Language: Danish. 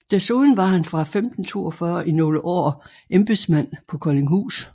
Desuden var han fra 1542 i nogle år embedsmand på Koldinghus